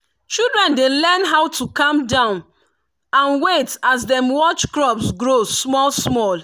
children dey learn how to calm down and wait as dem watch crops grow small small.